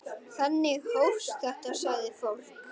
Þannig hófst þetta, sagði fólk.